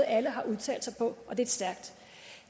alle har udtalt sig på og det er stærkt